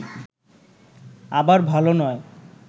আবার ভাল নয়